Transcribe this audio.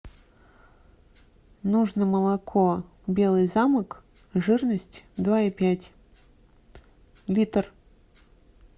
нужно молоко белый замок жирность два и пять литр